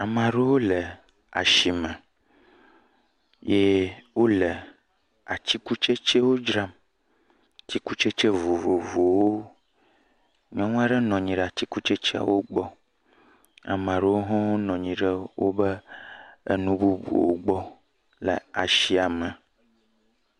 Amaa ɖewo le ashime eye wole atsikutsetsewo dzram. Atsikutsete vovovovowo. Nyɔnu aɖe bɔbɔ nɔ anyi ɖe atsikutsetseawo gbɔ. Amaa ɖewo hɔ̃ wonɔ anyi ɖe woƒe nu bubuwo gbɔ le ashia me.